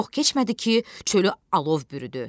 Çox keçmədi ki, çölü alov bürüdü.